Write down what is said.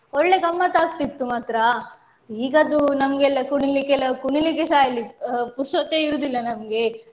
ಒಳ್ಳೆ ಗಮ್ಮತ್ತಾಕ್ತಿತ್ತು ಮಾತ್ರ. ಈಗದ್ದು ನಮ್ಗೆಲ್ಲ ಕುಣಿಲಿಕ್ಕೆ ಎಲ್ಲ ಕುಣಿಲಿಕ್ಕೆ ಸಹ ಇಲ್ಲಿ ಅಹ್ ಪುರ್ಸತ್ತೆ ಇರುದಿಲ್ಲ ನಮ್ಗೆ.